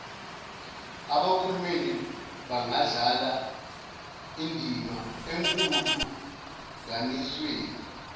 abakhulumeli bangadlala indimaekulinganisweni